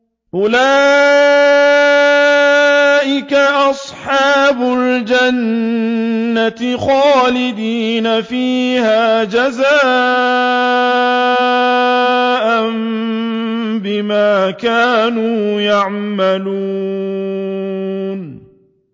أُولَٰئِكَ أَصْحَابُ الْجَنَّةِ خَالِدِينَ فِيهَا جَزَاءً بِمَا كَانُوا يَعْمَلُونَ